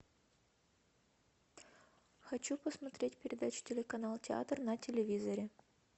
хочу посмотреть передачу телеканал театр на телевизоре